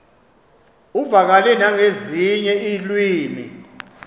uvakale nangezinye iilwimi